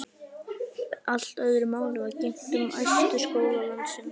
Allt öðru máli er að gegna um æðstu skóla landsins.